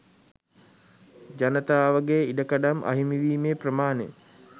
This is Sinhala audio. ජනතාවගේ ඉඩකඩම් අහිමි වීමේ ප්‍රමාණය